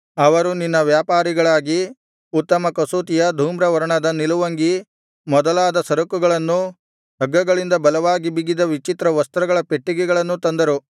ಅವರು ನಿನ್ನ ವ್ಯಾಪಾರಿಗಳಾಗಿ ಉತ್ತಮ ಕಸೂತಿಯ ಧೂಮ್ರ ವರ್ಣದ ನಿಲುವಂಗಿ ಮೊದಲಾದ ಸರಕುಗಳನ್ನೂ ಹಗ್ಗಗಳಿಂದ ಬಲವಾಗಿ ಬಿಗಿದ ವಿಚಿತ್ರ ವಸ್ತ್ರಗಳ ಪೆಟ್ಟಿಗೆಗಳನ್ನೂ ತಂದರು